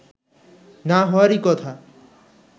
না হওয়ারই কথা